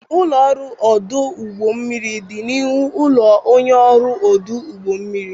Ụlọ ọrụ ọdụ ụgbọ mmiri dị n'ihu ụlọ onye ọrụ ọdụ ụgbọ mmiri.